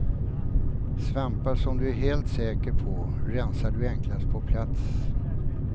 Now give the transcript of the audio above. Svampar som du är helt säker på rensar du enklast på plats.